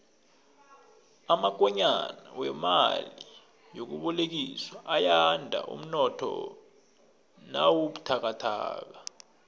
amakonyana wemali yokubolekiswa ayanda umnotho nawubuthakathaka